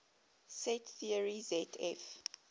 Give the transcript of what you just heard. set theory zf